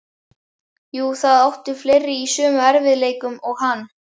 Jú, það áttu fleiri í sömu erfiðleikum og hann.